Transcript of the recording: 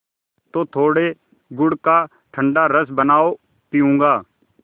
तो थोड़े गुड़ का ठंडा रस बनाओ पीऊँगा